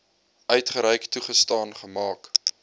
uitgereik toegestaan gemaak